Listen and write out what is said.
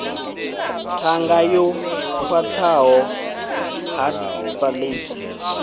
ṱhanga yo khwaṱhaho hard palate